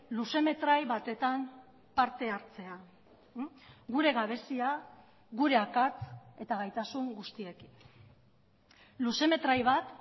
luzemetrai batetan parte hartzea gure gabezia gure akats eta gaitasun guztiekin luzemetrai bat